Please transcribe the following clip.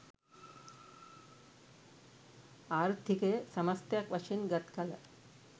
ආර්ථිකය සමස්තයක් වශයෙන් ගත්කල